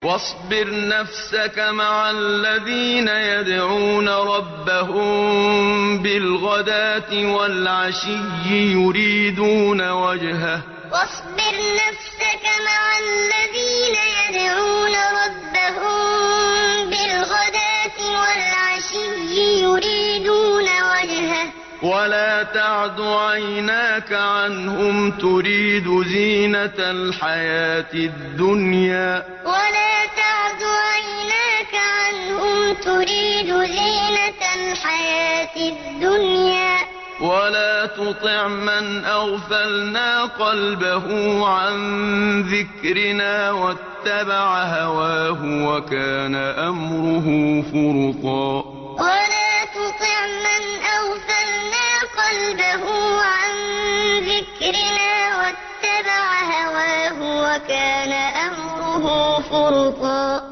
وَاصْبِرْ نَفْسَكَ مَعَ الَّذِينَ يَدْعُونَ رَبَّهُم بِالْغَدَاةِ وَالْعَشِيِّ يُرِيدُونَ وَجْهَهُ ۖ وَلَا تَعْدُ عَيْنَاكَ عَنْهُمْ تُرِيدُ زِينَةَ الْحَيَاةِ الدُّنْيَا ۖ وَلَا تُطِعْ مَنْ أَغْفَلْنَا قَلْبَهُ عَن ذِكْرِنَا وَاتَّبَعَ هَوَاهُ وَكَانَ أَمْرُهُ فُرُطًا وَاصْبِرْ نَفْسَكَ مَعَ الَّذِينَ يَدْعُونَ رَبَّهُم بِالْغَدَاةِ وَالْعَشِيِّ يُرِيدُونَ وَجْهَهُ ۖ وَلَا تَعْدُ عَيْنَاكَ عَنْهُمْ تُرِيدُ زِينَةَ الْحَيَاةِ الدُّنْيَا ۖ وَلَا تُطِعْ مَنْ أَغْفَلْنَا قَلْبَهُ عَن ذِكْرِنَا وَاتَّبَعَ هَوَاهُ وَكَانَ أَمْرُهُ فُرُطًا